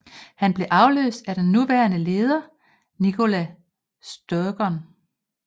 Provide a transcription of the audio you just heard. Han blev afløst af den nuværende leder Nicola Sturgeon